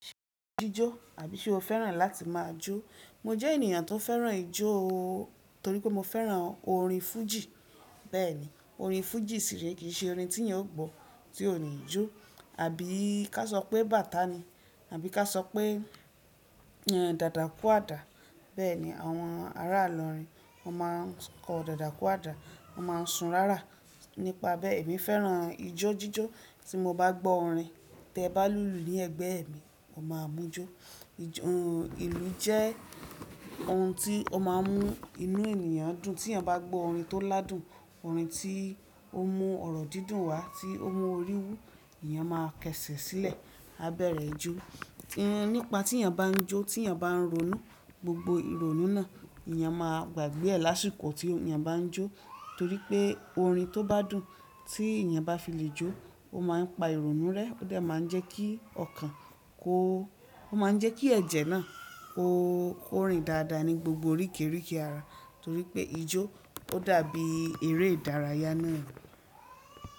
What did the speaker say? Jíjó àbí ṣe o fẹ́ràn láti máa jó? Mo jẹ́ ènìyàn tó fẹ́ràn ijó torí pé mo fẹ́ràn orin fújì. Bẹ́ẹ̀ni, orin fújì sì rí, kì í ṣe orin tí èèyàn ó gbọ́ tí ó ní ijó. Àbí ká sọ pé bàtá ni? Àbí ká sọ pé dàda kú àdá? Bẹ́ẹ̀ni àwọn ará àlọ́rin, wọ́n máa ń kọ dàda kú àdá, wọ́n máa ń sun rárá. Nípa bẹ́ẹ̀ èmi fẹ́ràn ijó jíjó tí mo bá gbọ́ orin tẹ bá lùlù ní ẹ̀gbẹ́ mi, mo máa mú jó. Ìlù jẹ́ ohun tí ó máa ń mú inú ènìyàn dùn. Tí èèyàn bá gbọ́ orin tó ládùn, orin tí ó mú ọ̀rọ̀ dídùn wá tí ó mú orí wú, èèyàn máa kẹṣẹ̀ sílẹ̀, á bẹ̀rẹ̀ ijó. Nípa tí èèyàn bá ń jó, tí èèyàn bá ń ronú, gbogbo ìrònú náà èèyàn máa gbàgbé e lásìkò tí èèyàn bá ń jó torí pé orin tó bá dùn tí èèyàn bá fi le jó, ó máa ń pa ìrònú rẹ́, ó dà máa ń jẹ́ kí ọkàn kó ó máa ń jẹ́ kí ẹ̀jẹ̀ náà ó rìn dáadáa ní gbogbo orí kẹ́rẹ́ kẹ́rẹ́ ara torí pé ijó ó dàbí eré ìdárayá náà.